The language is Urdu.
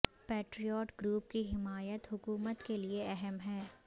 پیٹریاٹ گروپ کی حمایت حکومت کے لئے اہم ہے